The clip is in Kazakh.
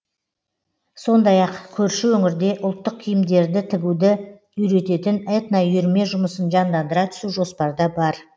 сондай ақ көрші өңірде ұлттық киімдерді тігуді үйрететін этноүйірме жұмысын жандандыра түсу жоспарда бар